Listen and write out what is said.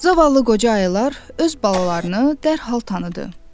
Zavallı qoca ayılar öz balalarını dərhal tanıdı.